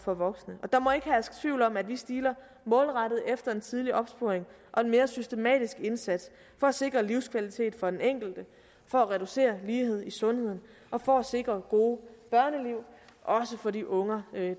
og voksne og der må ikke herske tvivl om at vi stiler målrettet efter en tidlig opsporing og en mere systematisk indsats for at sikre livskvalitet for den enkelte for at reducere ulighed i sundhed og for at sikre gode børneliv også for de unger